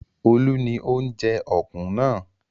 Olu ni ó ń jẹ ọ̀kùn náà.